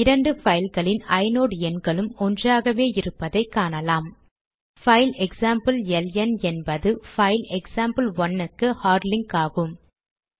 இரண்டு பைல்களின் ஐநோட் எண்களும் ஒன்றாகவே இருப்பதை காணலாம் பைல் எக்சாம்பிள் எல்என் என்பது பைல் எக்சாம்பிள்1 க்கு ஹார்ட் லிங்க் ஆகும்